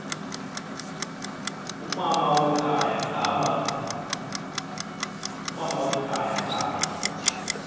umama wekhaya ngaba